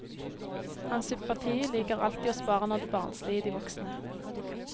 Hans sympati ligger alltid hos barna og det barnslige i de voksne.